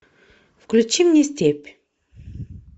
включи мне степь